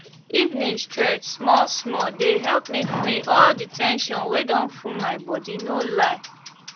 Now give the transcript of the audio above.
evening stretch small small dey help me free all the ten sion wey don full my body no lie